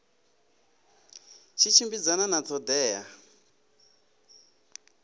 tshi tshimbidzana na ṱho ḓea